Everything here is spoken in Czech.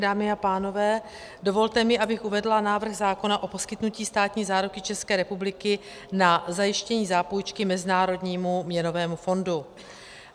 Dámy a pánové, dovolte mi, abych uvedla návrh zákona o poskytnutí státní záruky České republiky na zajištění zápůjčky Mezinárodnímu měnovému fondu.